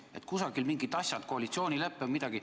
Et kusagil mingid asjad, koalitsioonilepe või midagi ...